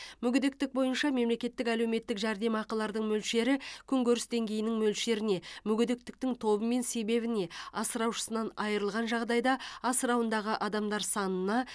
мүгедектік бойынша мемлекеттік әлеуметтік жәрдемақылардың мөлшері күнкөріс деңгейінің мөлшеріне мүгедектіктің тобы мен себебіне асыраушысынан айырылған жағдайда асырауындағы адамдар санына